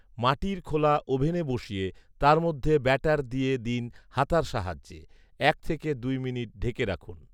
মাটির খোলা ওভেনে বসিয়ে তার মধ্যে ব্যাটার দিয়ে দিন হাতার সাহায্যে, এক থেকে দুই মিনিট ঢেকে রাখুন